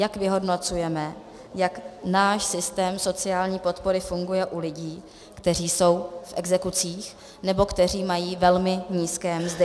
Jak vyhodnocujeme, jak náš systém sociální podpory funguje u lidí, kteří jsou v exekucích nebo kteří mají velmi nízké mzdy?